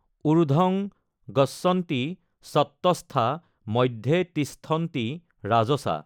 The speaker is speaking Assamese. ঊৰ্দ্ধং গচ্ছন্তি সত্ত্বস্থা মধ্যে তিষ্ঠন্তি ৰাজসা।